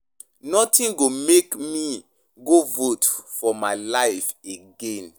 Nothing go make me go vote for my life again.